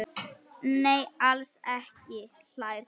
Nei, alls ekki hlær Gunnar.